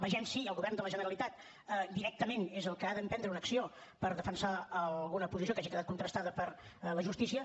vegem si el govern de la generalitat directament és el que ha d’emprendre una acció per defensar alguna posició que hagi quedat contrastada per la justícia